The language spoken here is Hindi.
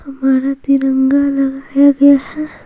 और तिरंगा लगाया गया है।